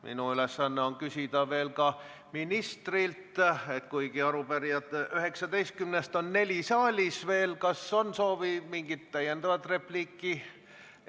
Minu ülesanne on küsida veel ka ministrilt, et kuigi 19 arupärijast on saali jäänud neli, kas soovite veel mingit täiendavat repliiki öelda?